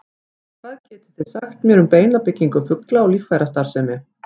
Hvað getið þið sagt mér um beinabyggingu fugla og líffærastarfsemi?